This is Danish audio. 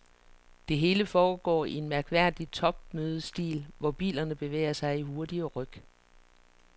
Det hele foregår i en mærkværdig topmødestil, hvor bilerne bevæger sig i hurtige ryk.